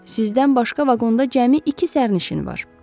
Sizdən başqa vaqonda cəmi iki sərnişin var.